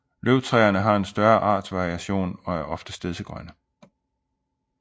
Løvtræerne har en større artsvariation og er oftest stedsegrønne